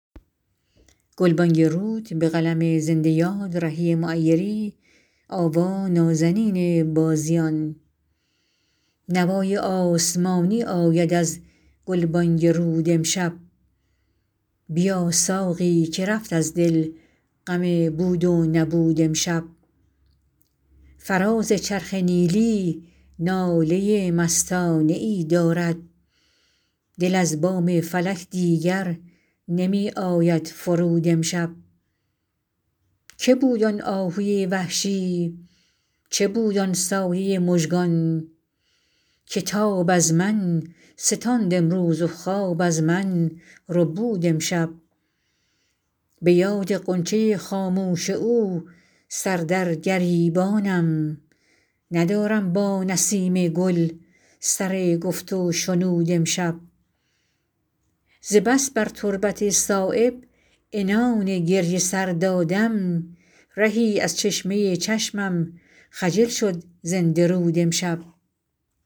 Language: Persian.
نوای آسمانی آید از گلبانگ رود امشب بیا ساقی که رفت از دل غم بود و نبود امشب فراز چرخ نیلی ناله مستانه ای دارد دل از بام فلک دیگر نمی آید فرود امشب که بود آن آهوی وحشی چه بود آن سایه مژگان که تاب از من ستاند امروز و خواب از من ربود امشب به یاد غنچه خاموش او سر در گریبانم ندارم با نسیم گل سر گفت و شنود امشب ز بس بر تربت صایب عنان گریه سر دادم رهی از چشمه چشمم خجل شد زنده رود امشب